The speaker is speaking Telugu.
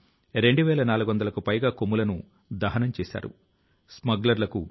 సహచరులారా 500 కు పైగా పక్షి జాతుల కు అరుణాచల్ ప్రదేశ్ నిలయంగా ఉంది